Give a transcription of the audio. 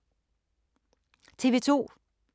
TV 2